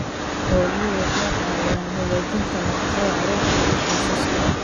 Xooluhu waxay caawiyaan hagaajinta nafaqada carruurta iyo qoysaska.